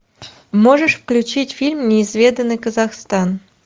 можешь включить фильм неизведанный казахстан